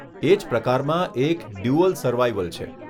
એજ પ્રકારમાં એક 'dual survival' છે.